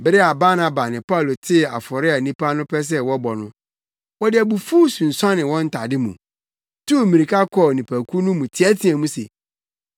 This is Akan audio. Bere a Barnaba ne Paulo tee afɔre a nnipa no pɛ sɛ wɔbɔ no, wɔde abufuw sunsuanee wɔn ntade mu, tuu mmirika kɔɔ nnipakuw no mu teɛteɛɛ mu se,